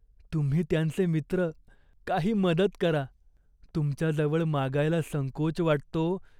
तुम्ही त्यांचे मित्र. काही मदत करा. तुमच्याजवळ मागायला संकोच वाटतो.